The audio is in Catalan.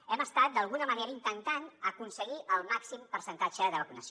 hem estat d’alguna manera intentant aconseguir el màxim percentatge de vacunació